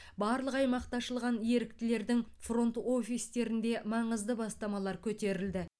барлық аймақта ашылған еріктілердің фронт офистерінде маңызды бастамалар көтерілді